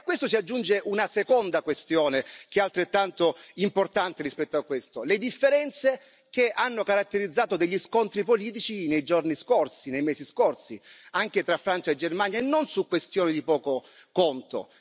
A questo si aggiunge una seconda questione, che è altrettanto importante rispetto a questo le differenze che hanno caratterizzato gli scontri politici nei giorni scorsi, nei mesi scorsi, anche tra Francia e Germania, e non su questioni di poco conto.